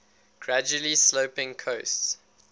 gradually sloping coasts